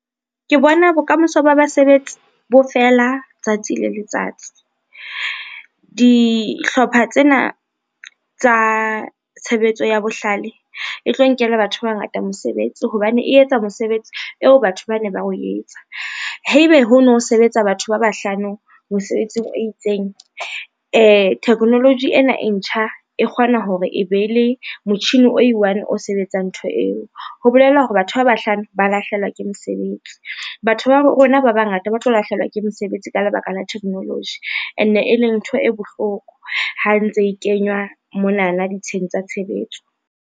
Ke bona bokamoso ba basebetsi bo fela tsatsi le letsatsi. Dihlopha tsena tsa tshebetso ya bohlale e tlo nkela batho ba bangata mosebetsi hobane e etsa mosebetsi eo batho ba ne ba o etsa, haebe ho no sebetsa batho ba bahlano mosebetsing o itseng technology ena e ntjha e kgona hore e be le motjhini o e one o sebetsang ntho eo, ho bolela hore batho ba bahlano ba lahlehelwa ke mesebetsi. Batho ba rona ba bangata ba tlo lahlehelwa ke mesebetsi ka lebaka la technology ene e leng ntho e bohloko ha ntse e kenywa monana ditsheng tsa tshebetso.